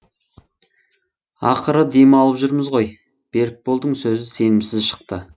ақыры демалып жүрміз ғой берікболдың сөзі сенімсіз шықты